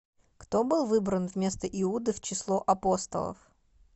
кто был выбран вместо иуды в число апостолов